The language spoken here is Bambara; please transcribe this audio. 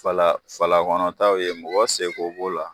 Fala fala kɔnɔ taw ye mɔgɔ seko b'o la